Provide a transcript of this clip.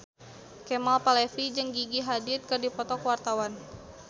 Kemal Palevi jeung Gigi Hadid keur dipoto ku wartawan